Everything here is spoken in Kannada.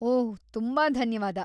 ಓಹ್‌, ತುಂಬಾ ಧನ್ಯವಾದ.